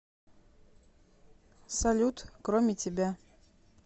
салют кроме тебя